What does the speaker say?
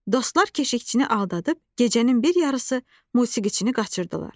Dostlar keşikçini aldadıb gecənin bir yarısı musiqiçini qaçırdılar.